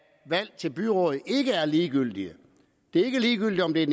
valg til byråd ikke er ligegyldige det er ikke ligegyldigt om det er